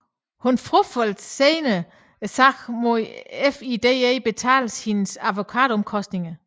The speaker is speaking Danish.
Hun frafaldt senere sagen mod at FIDE betalte hendes advokatomkostninger